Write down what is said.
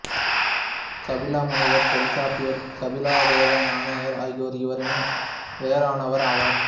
கபில முனிவர் தொல்காப்பியர் கபிலதேவ நாயனார் ஆகியோர் இவரினும் வேறானவர் ஆவார்